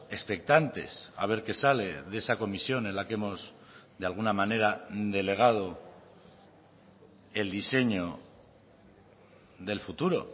expectantes a ver qué sale de esa comisión en la que hemos de alguna manera delegado el diseño del futuro